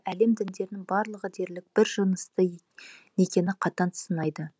әлем діндерінің барлығы дерлік бір жынысты некені қатаң сынайды